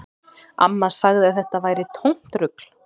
Amma sagði að þetta væri tómt rugl